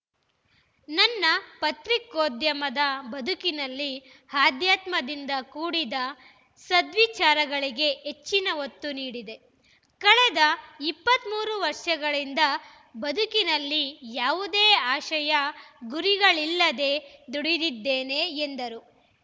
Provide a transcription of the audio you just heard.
ನನ್ನ ಪತ್ರಿಕೋದ್ಯಮದ ಬದುಕಿನಲ್ಲಿ ಆಧ್ಯಾತ್ಮದಿಂದ ಕೂಡಿದ ಸದ್ವಿಚಾರಗಳಿಗೆ ಹೆಚ್ಚಿನ ಒತ್ತು ನೀಡಿದೆ ಕಳೆದ ಇಪ್ಪತ್ತ್ ಮೂರು ವರ್ಷಗಳಿಂದ ಬದುಕಿನಲ್ಲಿ ಯಾವುದೇ ಆಶಯ ಗುರಿಗಳಿಲ್ಲದೇ ದುಡಿದಿದ್ದೇನೆ ಎಂದರು